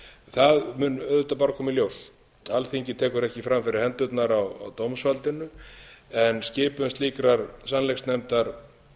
það mun auðvitað bara koma í ljós alþingi tekur ekki fram fyrir hendurnar á dómsvaldinu en skipun slíkrar sannleiksnefndar held ég að